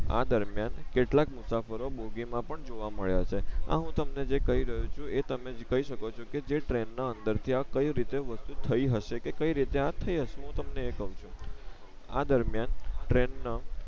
આ દરમિયાન કેટલાક મુસાફરો બોગી માં પણ જોવા મળ્યા છે આ હું તમને જે કઈ રયો છું એ તમે કઈ શકો છો કે જે ટ્રેન ના અંદર ત્યાં કઈ રીતે વસ્તુ થઈ હસે કે કઈ રીતે આ થઈ હસે હું તમને કવ છું આ દરમીયાન ટ્રેન ના